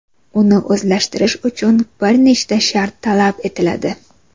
Uni o‘zlashtirish uchun bir nechta shart talab etiladi.